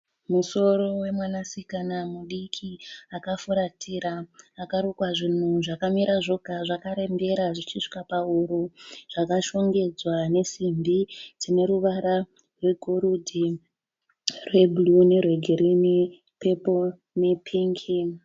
Musoro wemwanasikana mudiki akafuratira. Akarukwa zvunhu zvakamira zvega zvarembera zvichisvika pahuro. Zvakashongedzwa nesimbi dzineruvara rwegoridhe, rwebhuruu nerwegirini, peporo nepingi.